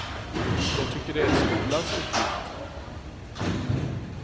Jag tycker det är skolans uppgift.